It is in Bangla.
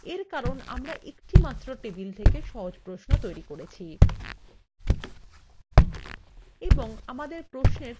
এর কারণ আমরা একটিমাত্র টেবিল থেকে সহজ প্রশ্ন তৈরি করছি